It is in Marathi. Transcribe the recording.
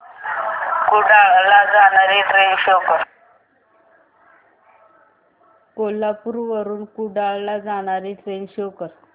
कोल्हापूर वरून कुडाळ ला जाणारी ट्रेन शो कर